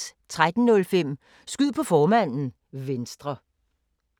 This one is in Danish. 13:05: Skyd på formanden: Venstre